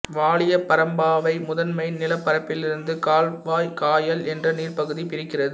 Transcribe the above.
வாலியபரம்பாவை முதன்மை நிலப்பரப்பிலிருந்து காவ்வாய் காயல் என்ற நீர்பகுதி பிரிக்கிறது